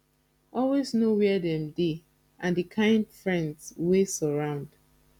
always know where dem dey and the kind friends wey surround